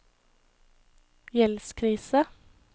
gjeldskrise